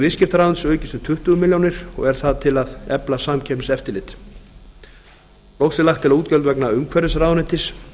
viðskiptaráðuneytisins aukist um tuttugu milljónir og er það til að efla samkeppniseftirlit loks er lagt til að útgjöld vegna umhverfisráðuneytis